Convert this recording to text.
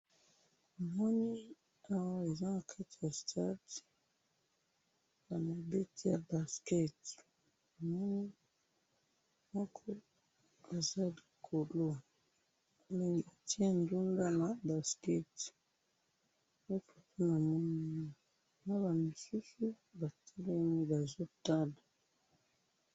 Namoni awa eza nakati ya stade, bamibeti ya basket, namoni moko aza likolo, atye bale na basket nde foto namoni awa, naba misusu batelemi bazotala.